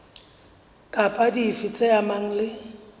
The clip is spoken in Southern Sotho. kapa dife tse amanang le